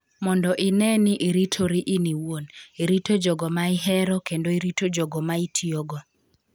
Mondo ine ni iritori in iwuon, irito jogo ma ihero, kendo irito jogo ma itiyogo''.